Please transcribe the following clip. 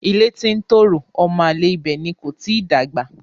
Ilé tí ń tòrò ọmọ àlè ibẹ̀ ni kò tíì dàgbà.